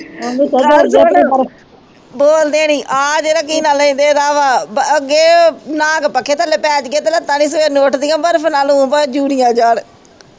ਗੱਲ ਸੁਣ ਬੋਲਦੇ ਨਹੀਂ ਆ ਜਿਹੜਾ ਕੀ ਨਾ ਲਈ ਦੇ ਏਦਾਂ ਵਾ ਬ ਅੱਗੇ ਏ ਨਹਾ ਕੇ ਪੱਖੇ ਥੱਲੇ ਪੇਜੀਏ ਤੇ ਲੱਤਾਂ ਨਹੀਂ ਸਵੇਰ ਨੂੰ ਉਠਦੀਆਂ ਬਰਫ ਨਾਲ ਊ ਭਾਵੇ ਜੁੜੀਆਂ ਜਾਣ